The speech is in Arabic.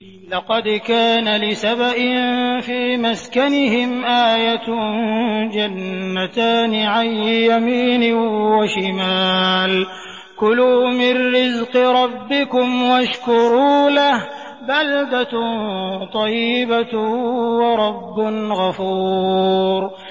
لَقَدْ كَانَ لِسَبَإٍ فِي مَسْكَنِهِمْ آيَةٌ ۖ جَنَّتَانِ عَن يَمِينٍ وَشِمَالٍ ۖ كُلُوا مِن رِّزْقِ رَبِّكُمْ وَاشْكُرُوا لَهُ ۚ بَلْدَةٌ طَيِّبَةٌ وَرَبٌّ غَفُورٌ